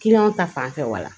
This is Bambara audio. ta fanfɛ wala